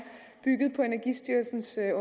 bygget på energistyrelsens